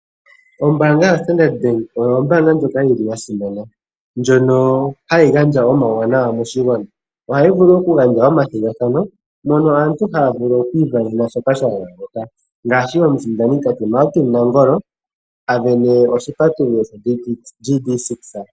Ombaanga yo Standard bank oyo ombaanga ndjoka yili ya simana, ndjono hayi gandja omawu wanawa moshi gwana. Ohayi vulu oku gandja oma thigathano, mono aantu haya vulu oku ivenena shoka sha gandjwa moka, ngaashi omu sindani tate Martin Nangolo avene oshi patululo GD 6.